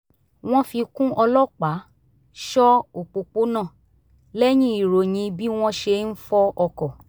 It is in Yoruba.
wọ́n fi kún ọlọ́pàá ṣọ́ òpópónà lẹ́yìn ìròyìn bí wọ́n ṣe ń fọ́ ọkọ̀